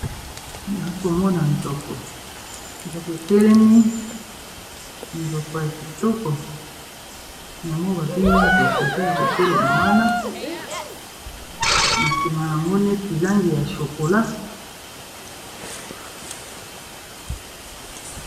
Awa naokomona nzoko nzoko etelemi nzoko ya kitoko nyamo babengi nzoko eza ya kotelema wana na nsima yango neti langi ya shokola